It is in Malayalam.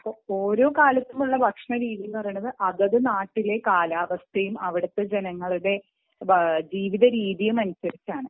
ഓരോ നാട്ടിലെയും ഭക്ഷണ രീതി എന്ന് വച്ചാൽ അതത് നാട്ടിലെ കാലാവസ്ഥയും ജനങ്ങളുടെ ജീവിത രീതിയും അനുസരിച്ചാണ്